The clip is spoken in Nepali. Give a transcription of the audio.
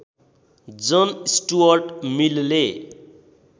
जन स्टुअर्ट मिलले